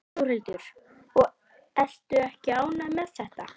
Þórhildur: Og ertu ekki ánægður með þetta?